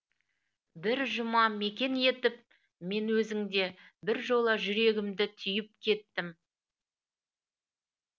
бір жұма мекен етіп мен өзіңде бір жола жүрегімді түйіп кеттім